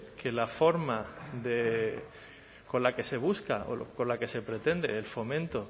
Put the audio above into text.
que la forma con la que se busca o con la que se pretende el fomento